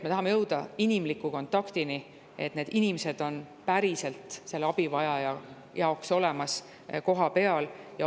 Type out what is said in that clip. Me tahame jõuda inimliku kontaktini, et need inimesed oleks päriselt selle abivajaja jaoks kohapeal olemas.